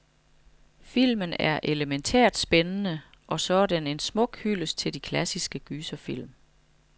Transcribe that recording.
Filmen er elemæntært spændende, og så er den en smuk hyldest til de klassiske gyserfilm.